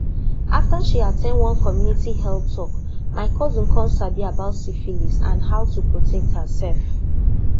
after she at ten d one community health talk my cousin come sabi about syphilis and how to protect herself